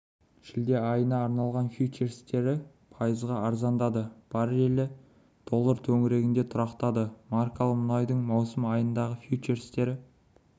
шілде айына арналған фьючерстері пайызға арзандады баррелі доллар төңірегінде тұрақтады маркалы мұнайдың маусым айындағы фьючерстері